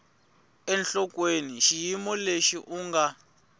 enhlokweni xiyimo lexi u nga